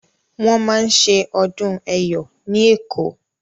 Wọ́n máa ṣe ọdún Ẹ̀yọ̀ ní Èkó.